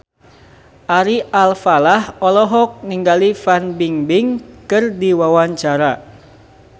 Ari Alfalah olohok ningali Fan Bingbing keur diwawancara